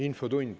Infotund.